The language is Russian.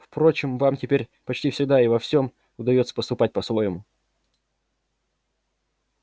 впрочем вам теперь почти всегда и во всем удаётся поступать по-своему